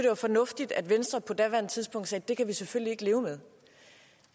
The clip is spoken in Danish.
var fornuftigt at venstre på daværende tidspunkt sagde at det kan vi selvfølgelig ikke leve med